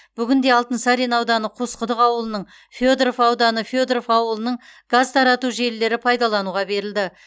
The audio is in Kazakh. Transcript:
бүгінде алтынсарин ауданы қосқұдық ауылының федоров ауданы федоров ауылының газ тарату желілері пайдалануға берілді